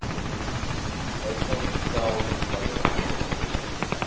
wysig stel wysigings